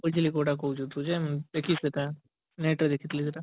ବୁଝିଲି ତୁ କୋଉଟା କହୁଚୁ ତୁ ଯେ ଏଗିସ୍ମିତା net ରେ ଦେଖିଥିଲି ସେଇଟା